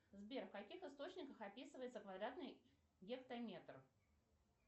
сбер в каких источниках описывается квадратный гектометр